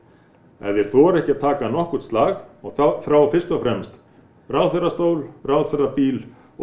ef þeir þora ekki að taka nokkurn slag og þrá fyrst og fremst ráðherrastól ráðherrabíl og